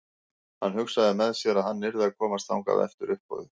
Hann hugsaði með sér að hann yrði að komast þangað eftir uppboðið.